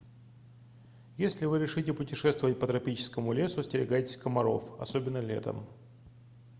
если вы решите путешествовать по тропическому лесу остерегайтесь комаров особенно летом